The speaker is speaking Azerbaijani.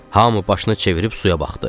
Hamı başını çevirib suya baxdı.